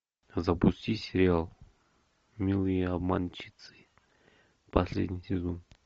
запусти сериал милые обманщицы последний сезон